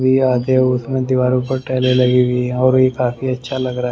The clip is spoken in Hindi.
आते उसमें दीवारों पर टैले लगी हुई है और ये काफी अच्छा लग रहा है।